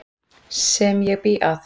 Sem ég bý að.